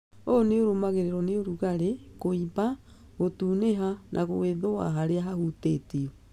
ũ nĩũrũmagĩrĩrwo nĩ ũrugarĩ, kũimba, gũtunĩha na gwĩthũa harĩa hahutĩtio